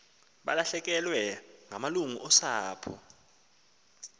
balahlekelwe ngamalungu osapho